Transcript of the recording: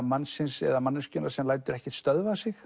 mannsins eða manneskjunnar sem lætur ekkert stöðva sig